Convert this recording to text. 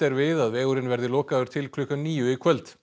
sé við að vegurinn verði lokaður til klukkan níu í kvöld